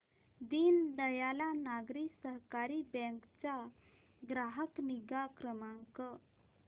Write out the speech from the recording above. दीनदयाल नागरी सहकारी बँक चा ग्राहक निगा क्रमांक